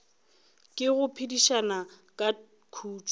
ke go phedišana ka khutšo